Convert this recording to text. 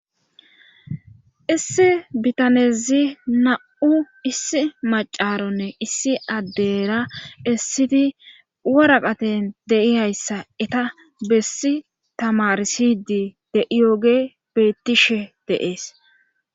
issi bitanezi na7u issi macaronne issi addera essidi waraqaten deiyayssa eta bessi tamarsidi de7iyooge bettishe deees